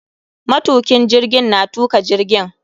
Matukin jirgin na tuka jirgin.